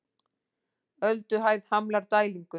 Ölduhæð hamlar dælingu